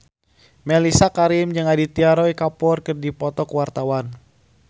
Mellisa Karim jeung Aditya Roy Kapoor keur dipoto ku wartawan